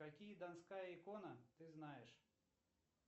какие донская икона ты знаешь